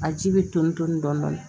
A ji bɛ tonni dɔɔni dɔɔni